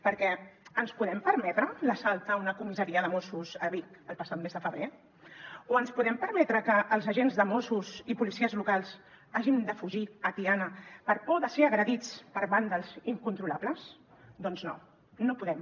perquè ens podem permetre l’assalt a una comissaria de mossos a vic el passat mes de febrer o ens podem permetre que els agents de mossos i policies locals hagin de fugir a tiana per por de ser agredits per vàndals incontrolables doncs no no podem